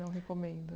Não recomendo.